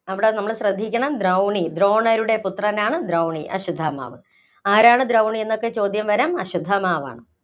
അവിടെ നമ്മള്‍ ശ്രദ്ധിക്കണം ദ്രൌണി, ദ്രോണരുടെ പുത്രനാണ് ദ്രൗണി. അശ്വത്ഥമാവ്. ആരാണ് ദ്രൗണി എന്നൊക്കെ ചോദ്യം വരാം അശ്വത്ഥമാവാണ്.